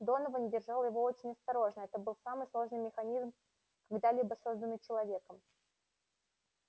донован держал его очень осторожно это был самый сложный механизм когда-либо созданный человеком